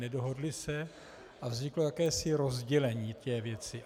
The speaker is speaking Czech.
Nedohodli se a vzniklo jakési rozdělení té věci.